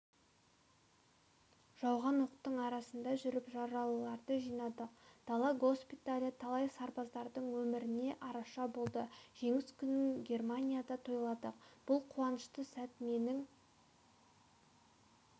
жауған оқтың арасында жүріп жаралыларды жинадық дала госпиталі талай сарбаздың өміріне араша болды жеңіс күнін германияда тойладық бұл қуанышты сәт менің